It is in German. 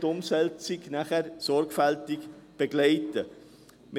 Danach werden wird die Umsetzung sorgfältig begleiten können.